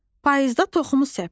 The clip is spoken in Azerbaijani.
Payızda toxumu səp.